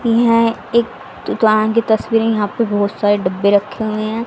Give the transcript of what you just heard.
यहां एक दुकान कि तस्वीरें है यहां पे बहोत सारे डब्बे रखे हुए हैं।